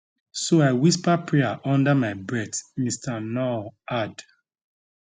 so i whisper prayer under my breath mr nuur add